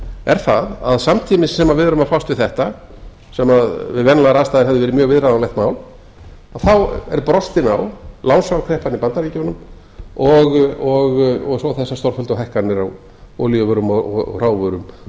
er það að samtímis sem við erum að fást við þetta sem við venjulegar aðstæður hefði verið mjög viðráðanlegt mál þá er brostin á lánsfjárkreppan í bandaríkjunum og svo þessar stórfelldu hækkanir á olíuvörum og hrávörum